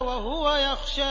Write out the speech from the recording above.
وَهُوَ يَخْشَىٰ